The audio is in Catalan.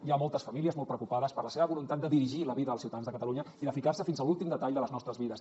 hi ha moltes famílies molt preocupades per la seva voluntat de dirigir la vida als ciutadans de catalunya i de ficar se fins a l’últim detall de les nostres vides